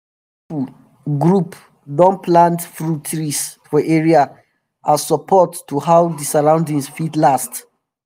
all those young pipu group don plant fruit um trees for area as support to how d surroundings fit last